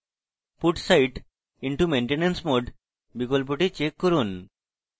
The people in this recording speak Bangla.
put site into maintenance mode বিকল্পটি check করুন